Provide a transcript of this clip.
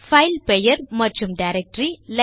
file பெயர் மற்றும் directory